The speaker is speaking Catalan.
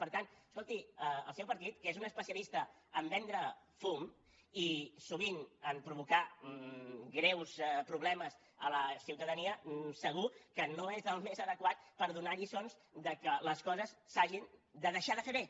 per tant escolti el seu partit que és un especialista a vendre fum i sovint a provocar greus problemes a la ciutadania segur que no és el més adequat per donar lliçons que les coses s’hagin de deixar de fer bé